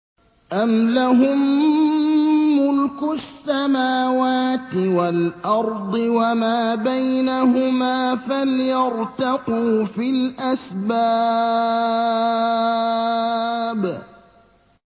أَمْ لَهُم مُّلْكُ السَّمَاوَاتِ وَالْأَرْضِ وَمَا بَيْنَهُمَا ۖ فَلْيَرْتَقُوا فِي الْأَسْبَابِ